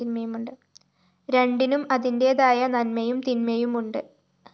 രണ്ടിനും അതിന്റേതായ നന്മയും തിന്മയുമുണ്ട്